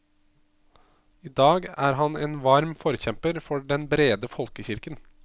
I dag er han en varm forkjemper for den brede folkekirken.